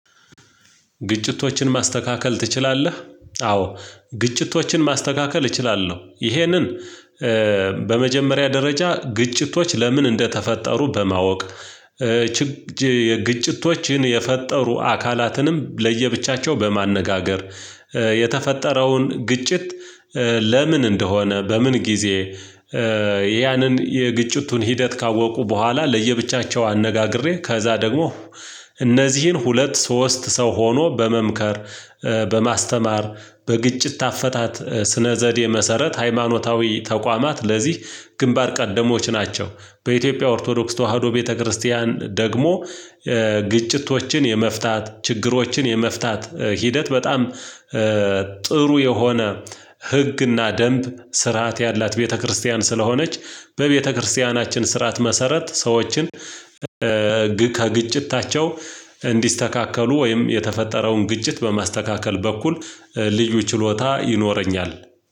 ግጭቶችን ማስተካከል ትችላለህ? አዎ ግጭቶችን ማስተካከል እችላለሁ። ይሄንን በመጀመሪያ ደረጃ ግጭቶች ለምን እንደተፈጠሩ በማወቅ ግጭቶችን የፈጠሩ አካላትንም ለየብቻቸው በማነጋገር የተፈጠረውን ግጭት። ለምን እንደሆነ በምን ጊዜ ያንን የግጭቱን ሂደት ካወቁ በኋላ ለየብቻቸው አነጋግሬ ከዛ ደግሞ እነዚህን ሁለት ሶስት ሰው ሆኖ በመምከር በማስተማር በግጭት አፈታት ስነ ዘዴ መሰረት ሃይማኖታዊ ተቋማት ለዚህ ግንባር ቀደሞች ናቸው። በኢትዮጵያ ኦርቶዶክስ ተዋህዶ ቤተክርስቲያን ደግሞ ግጭቶችን የመፍታት ችግሮችን የመፍታት ሂደት በጣም ጥሩ የሆነ ህግና ደንብ ስርዓት ያላት ቤተክርስቲያን ስለሆነች በቤተክርስቲያናችን ስርዓት መሰረት ሰዎችን ከግጭት እንዲስተካከሉ ወይም የተፈጠረውን ግጭት በማስተካከል በኩል ልዩ ችሎታ ይኖረኛል።